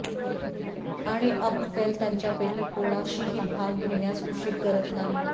आणि अप्फेल त्यांच्यापैकी कोणाशीही भाग घेण्यास उशीर करत नाही